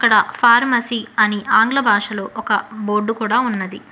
Pharmacy అని ఆంగ్ల భాషలో ఒక బోర్డు కూడా ఉన్నది.